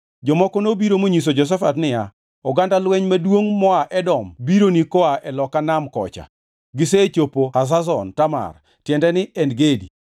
Jomoko nobiro monyiso Jehoshafat niya, “Oganda lweny maduongʼ moa Edom bironi koa e loka Nam kocha. Gisechopo Hazazon Tamar” (tiende ni, En Gedi).